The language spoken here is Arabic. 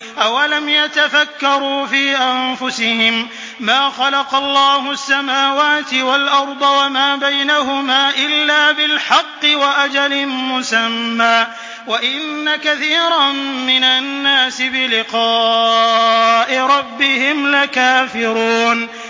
أَوَلَمْ يَتَفَكَّرُوا فِي أَنفُسِهِم ۗ مَّا خَلَقَ اللَّهُ السَّمَاوَاتِ وَالْأَرْضَ وَمَا بَيْنَهُمَا إِلَّا بِالْحَقِّ وَأَجَلٍ مُّسَمًّى ۗ وَإِنَّ كَثِيرًا مِّنَ النَّاسِ بِلِقَاءِ رَبِّهِمْ لَكَافِرُونَ